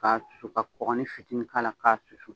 K'a susu ka kɔkɔni fitinin k'a la k'a susu